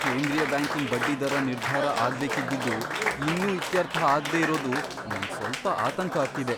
ಕೇಂದ್ರೀಯ ಬ್ಯಾಂಕಿನ್ ಬಡ್ಡಿದರ ನಿರ್ಧಾರ ಆಗ್ಬೇಕಿದ್ದಿದ್ದು ಇನ್ನೂ ಇತ್ಯರ್ಥ ಆಗ್ದೇ ಇರೋದು ನಂಗ್ ಸ್ವಲ್ಪ ಆತಂಕ ಆಗ್ತಿದೆ.